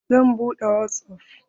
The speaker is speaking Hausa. Zan buɗe wasap.